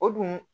O dun